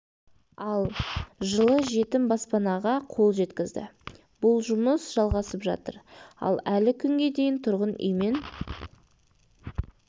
ал жылы жетім баспанаға қол жеткізді бұл жұмыс жалғасып жатыр ал әлі күнге дейін тұрғын үймен